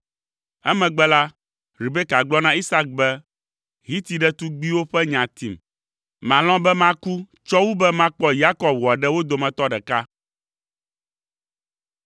Emegbe la, Rebeka gblɔ na Isak be, “Hiti ɖetugbiwo ƒe nya tim. Malɔ̃ be maku tsɔ wu be makpɔ Yakob wòaɖe wo dometɔ ɖeka.”